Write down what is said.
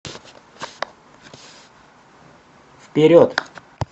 вперед